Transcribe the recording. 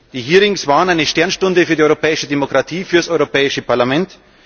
Die Hearings waren eine Sternstunde für die europäische Demokratie, für das Europäische Parlament.